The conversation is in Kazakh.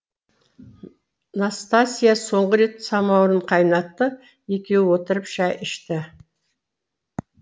настасья соңғы рет самаурын қайнатты екеуі отырып шай ішті